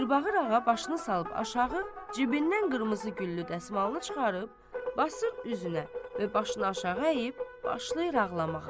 Mirbağır ağa başını salıb aşağı, cibindən qırmızı güllü dəsmalını çıxarıb, basır üzünə və başını aşağı əyib başlayır ağlamağa.